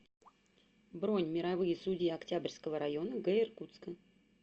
бронь мировые судьи октябрьского района г иркутска